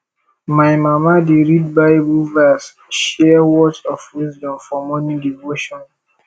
my mama dey read bible verse share words of wisdom for morning devotion